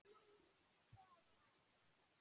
FJÓRIR spaðar.